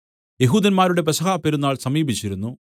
യെഹൂദന്മാരുടെ പെസഹാപ്പെരുന്നാൾ സമീപിച്ചിരുന്നു